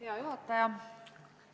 Hea juhataja!